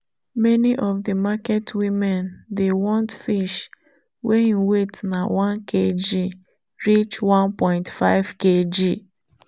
many of the market women dey want fish wey im weight na 1kg reach 1.5kg.